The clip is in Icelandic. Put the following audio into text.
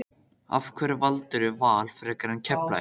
Af hverju valdirðu Val frekar en Keflavík?